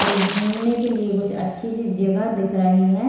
और घुमने के लिए अच्छी सी जगह दिख रही है।